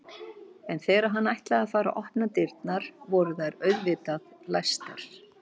En þegar hann ætlaði að fara að opna dyrnar voru þær auðvitað læstar.